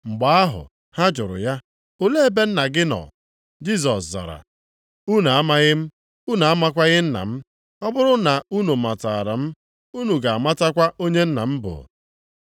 Mgbe ahụ ha jụrụ ya, “Olee ebe Nna gị nọ?” Jisọs zara, “Unu amaghị m, unu amakwaghị Nna m. Ọ bụrụ na unu matara m unu ga-amatakwa onye Nna m bụ.”